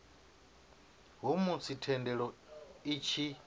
ha musi thendelo i tshi